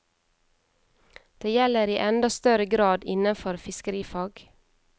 Det gjelder i enda større grad innenfor fiskerifag.